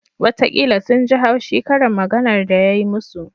Watakila sun ji haushi karin maganar da ya yi musu